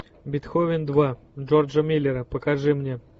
бетховен два джорджа миллера покажи мне